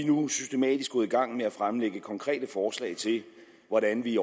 nu systematisk gået i gang med at fremlægge konkrete forslag til hvordan vi